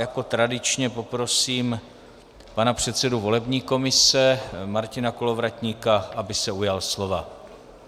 Jako tradičně poprosím pana předsedu volební komise Martina Kolovratníka, aby se ujal slova.